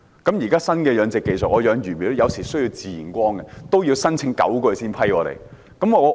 在現在新的養殖技術下，我養魚苗有時候需要自然光，但也要申請了9個月才獲批准。